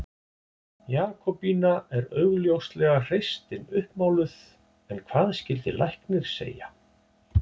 Jakobína er augljóslega hreystin uppmáluð en hvað skyldi læknir segja?